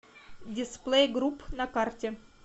дисплей групп на карте